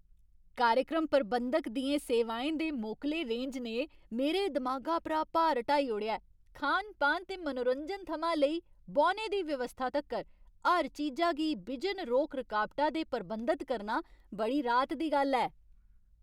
कार्यक्रम प्रबंधक दियें सेवाएं दे मोकले रेंज ने मेरे दमागा परा भार हटाई ओड़ेआ ऐ। खान पान ते मनोरंजन थमां लेई बौह्ने दी व्यवस्था तक्कर, हर चीजा गी बिजन रोक रकाबटा दे प्रबंधत करना बड़ी राहत दी गल्ल ऐ।